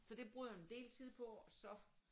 Så det bruger jeg en del tid på og så